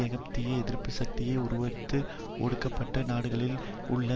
ஏகாதிபத்திய எதிர்ப்பு சக்தியாக உருவெடுத்து ஒடுக்கப்பட்ட நாடுகளில் உள்ள